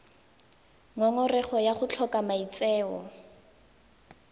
ngongorego ya go tlhoka maitseo